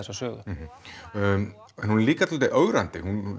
þessa sögu en hún er líka dálítið ögrandi